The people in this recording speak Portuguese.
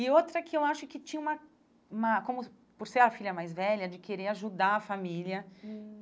E outra que eu acho que tinha uma uma... Como por ser a filha mais velha, de querer ajudar a família. Hum